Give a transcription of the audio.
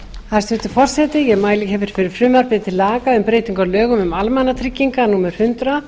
hæstvirtur forseti ég mæli hér fyrir frumvarpi til laga um breytingu á lögum um almannatryggingar númer hundrað